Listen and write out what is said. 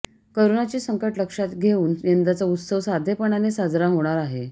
करोनाचे संकट लक्षात घेऊन यंदाचा उत्सव साधेपणाने साजरा होणार आहे